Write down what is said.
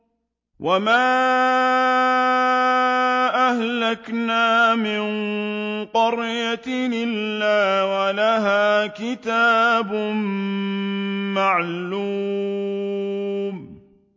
وَمَا أَهْلَكْنَا مِن قَرْيَةٍ إِلَّا وَلَهَا كِتَابٌ مَّعْلُومٌ